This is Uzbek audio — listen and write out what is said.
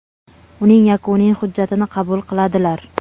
uning yakuniy hujjatini qabul qiladilar.